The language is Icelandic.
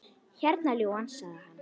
Hérna, ljúfan, sagði hann.